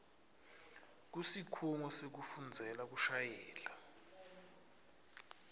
kusikhungo sekufundzela kushayela